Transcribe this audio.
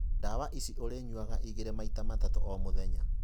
Ndawa ici ũrĩnyuaga igĩrĩ maita matatũ omũthenya.